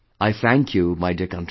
I thank you my dear countrymen